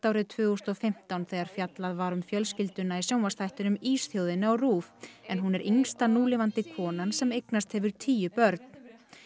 árið tvö þúsund og fimmtán þegar fjallað var um fjölskylduna í sjónvarpsþættinum Ísþjóðinni á RÚV en hún er yngsta núlifandi konan sem eignast hefur tíu börn